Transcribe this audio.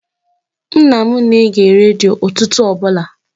Nna m na-ege redio ụtụtụ ọbụla.